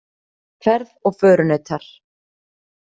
Ferð og förunautar.